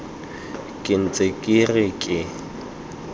ke ntse ke re ke